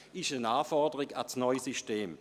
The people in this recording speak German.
Dies ist eine Anforderung an das neue System.